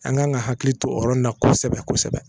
An kan ka hakili to o yɔrɔ in na kosɛbɛ kosɛbɛ